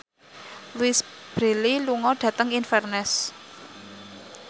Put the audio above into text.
Louise Brealey lunga dhateng Inverness